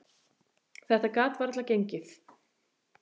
Þetta gat varla gengið.